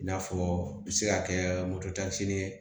I n'a fɔ bi se ka kɛ moto ye